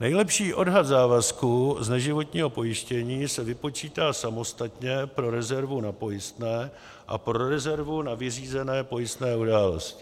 Nejlepší odhad závazků z neživotního pojištění se vypočítá samostatně pro rezervu na pojistné a pro rezervu na nevyřízené pojistné události.